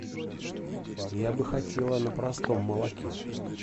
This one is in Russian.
я бы хотела на простом молоке